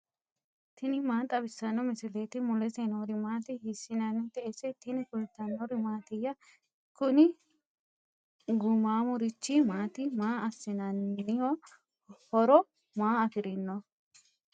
tini maa xawissanno misileeti ? mulese noori maati ? hiissinannite ise ? tini kultannori mattiya? kunni gumamurichi maati maa assananiho? horo maa affirinno?